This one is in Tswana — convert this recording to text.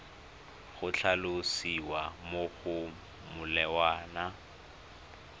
go tlhalosiwa mo go molawana